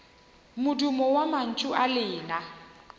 modumo wa mantšu a lena